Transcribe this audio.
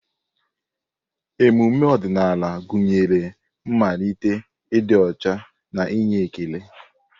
Emume ọdịnala gụnyere mmalite, ịdị ọcha na inye ekele.